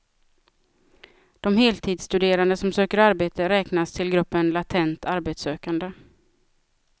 De heltidsstuderande som söker arbete räknas till gruppen latent arbetssökande.